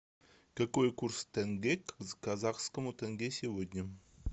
какой курс тенге к казахскому тенге сегодня